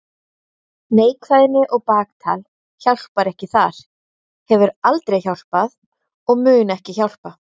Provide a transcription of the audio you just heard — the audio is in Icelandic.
Neikvæðni og baktal hjálpar ekki þar, hefur aldrei hjálpað og mun ekki hjálpa.